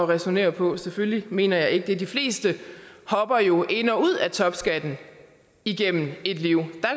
ræsonnere på selvfølgelig mener jeg ikke det de fleste hopper jo ind og ud af topskatten gennem et liv